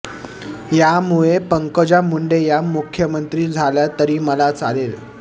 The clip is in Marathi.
यामुळे पंकजा मुंडे या मुख्यमंत्री झाल्या तरी मला चालेल